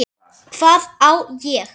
Hvað á ég?